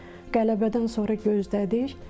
Qələbədən sonra gözlədik.